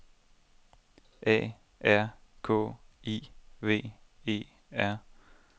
A R K I V E R